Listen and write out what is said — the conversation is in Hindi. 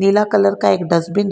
नीला कलर का एक डस्टबिन